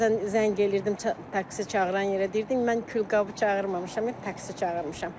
Bəzən zəng eləyirdim taksi çağıran yerə, deyirdim mən külqabı çağırmamışam, taksi çağırmışam.